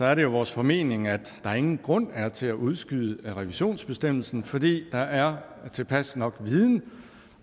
er det jo vores formening at der ingen grund er til at udskyde revisionsbestemmelsen fordi der er tilpas viden